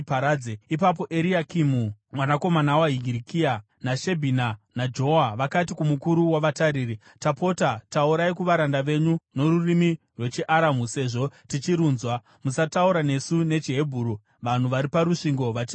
Ipapo Eriakimu mwanakomana waHirikia, naShebhina naJoa vakati kumukuru wavatariri, “Tapota, taurai kuvaranda venyu norurimi rwechiAramu sezvo tichirunzwa. Musataura nesu nechiHebheru vanhu vari parusvingo vachizvinzwa.”